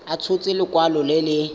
a tshotse lekwalo le le